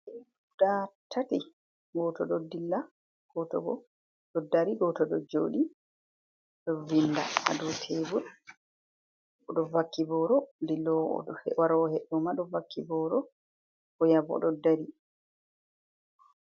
Guda tati gooto ɗo dilla, goto oɗo dri, goto ɗo joɗi ɗo vinda aɗo tebur ɗo vakki boro, dillowo warowo he'd ɗo ma ɗo vakki boro oya bo ɗo dari.